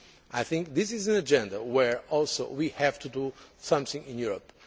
women. I think this is an agenda where we also have to do something in Europe.